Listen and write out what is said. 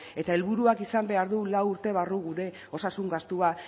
eta helburuak izan behar du lau urte barru gure osasun gastua